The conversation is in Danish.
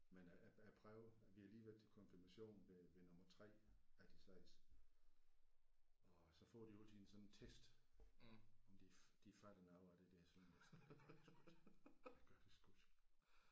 Men øh jeg jeg prøver vi har lige været til konfirmation ved ved nummer 3 af de 6 og så får de jo altid sådan en test om de de fatter noget af det der sønderjysk og det gør de sgu ikke det gør de sgu ikke